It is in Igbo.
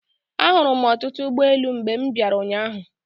Ahụrụ m ọtụtụ ụgboelu mgbe m bịara ụnyaahụ.